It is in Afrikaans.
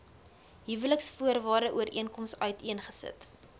huweliksvoorwaarde ooreenkoms uiteengesit